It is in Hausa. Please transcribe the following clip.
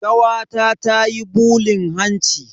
Kawata tayi bulin hanci.